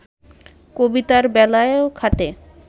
কবিতার বেলায়ও খাটে